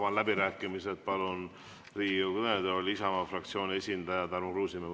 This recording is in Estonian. Avan läbirääkimised ja palun Riigikogu kõnetooli Isamaa fraktsiooni esindaja Tarmo Kruusimäe.